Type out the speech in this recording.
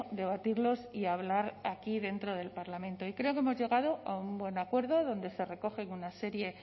debatirlos y hablar aquí dentro del parlamento y creo que hemos llegado a un buen acuerdo donde se recogen una serie